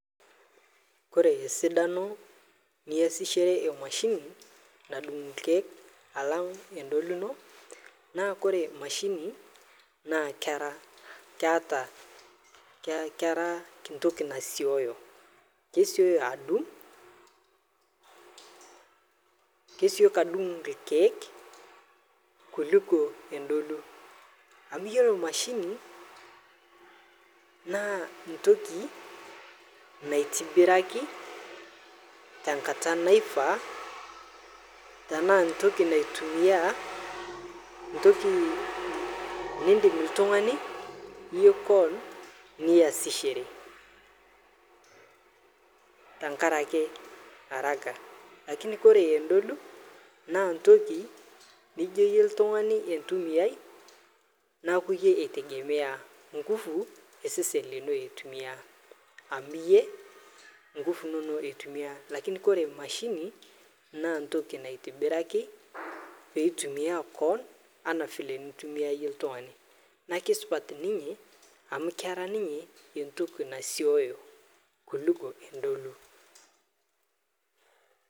ore esidano niyasishore emashini nadung` irkiek alang` entolu ino naa kore emashini naa kere keeta kera entoki nasieyo kesieyo adung` kesioki adung irkiek kuliko entolu ame iyolo emashini naa entoki naitobiraki tenkata naifaa teenaa entoki naitumia entoki neindim oltung`ani niyasishore tenkaraki haraka kake oree nentolu naa entoki nijo iye oltung`ani antumiyai neeku iyie ei tegemea nkufu osesen lino eitumia amu iye nkufu inonok eitumia lakini ore emashini naa entoki naitobiraki peitumia koon anaa eneintumia ie oltungani naa kesupat ninye amu kera ninye entoki nasieyo kuliko entolu.